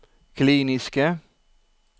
kliniske